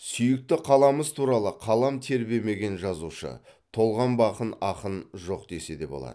сүйікті қаламыз туралы қалам тербемеген жазушы толғанбаған ақын жоқ десе болады